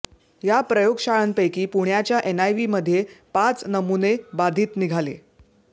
या प्रयोगशांळांपैकी पुण्याच्या एनआयव्हीमध्ये पाच नमुने बाधित निघाले